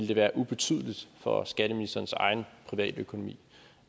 det være ubetydeligt for skatteministerens egen privatøkonomi